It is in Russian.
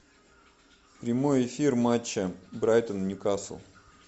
прямой эфир матча брайтон ньюкасл